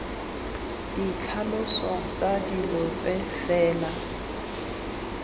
ditlhaloso tsa dilo tse fela